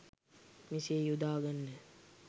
මෙසේ යොදා ගන්න.